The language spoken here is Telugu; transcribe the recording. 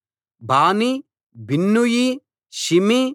బానీ బిన్నూయి షిమీ